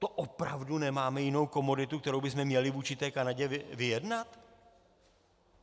To opravdu nemáme jinou komoditu, kterou bychom měli vůči té Kanadě vyjednat?